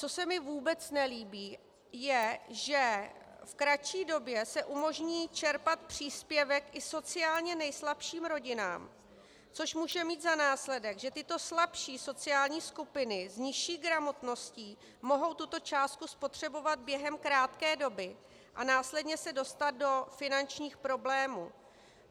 Co se mi vůbec nelíbí, je, že v kratší době se umožní čerpat příspěvek i sociálně nejslabším rodinám, což může mít za následek, že tyto slabší sociální skupiny s nižší gramotností mohou tuto částku spotřebovat během krátké doby a následně se dostat do finančních problémů.